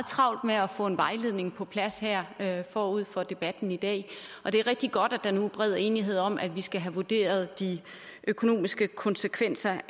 travlt med at få en vejledning på plads her her forud for debatten i dag og det er rigtig godt at der nu er bred enighed om at vi skal have vurderet de økonomiske konsekvenser